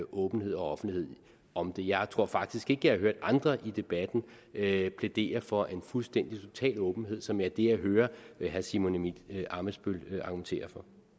åbenhed og offentlighed om det jeg tror faktisk ikke har hørt andre i debatten plædere for en fuldstændig og total åbenhed som er det jeg hører herre simon emil ammitzbøll argumentere